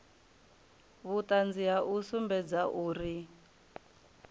vhuṱanzi ha u sumbedza uri